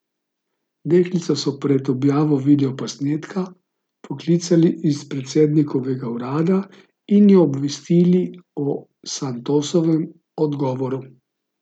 Deklico so pred objavo videoposnetka poklicali iz predsednikovega urada in jo obvestili o Santosovem odgovoru.